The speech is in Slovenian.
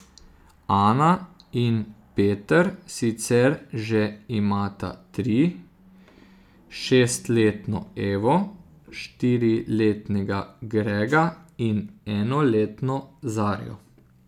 Ana in Peter sicer že imata tri, šestletno Evo, štiriletnega Grega in enoletno Zarjo.